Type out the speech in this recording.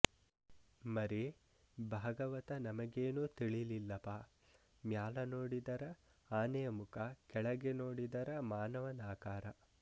ಮರಿ ಭಾಗವತ ನಮಗೇನು ತಿಳಿಲಿಲಪಾ ಮ್ಯಾಲ ನೋಡಿದರ ಆನೆಯ ಮುಖ ಕೆಳಗೆ ನೋಡಿದರ ಮಾನವನಾಕಾರ